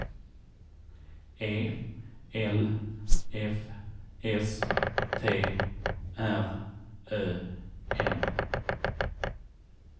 E L F S T R Ö M